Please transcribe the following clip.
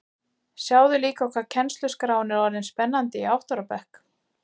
Sjáðu líka hvað kennsluskráin er orðin spennandi í átta ára bekk